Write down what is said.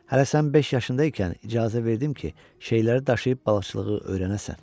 Hələ sən beş yaşında ikən icazə verdim ki, şeyləri daşıyıb balıqçılığı öyrənəsən.